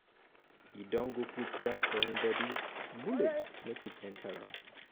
um e um don go put jazz for him um bodi bullet no fit no fit enter am.